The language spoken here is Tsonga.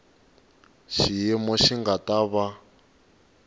xiyimo xi nga ta va